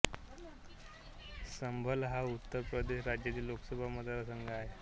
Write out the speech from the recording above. संभल हा उत्तर प्रदेश राज्यातील लोकसभा मतदारसंघ आहे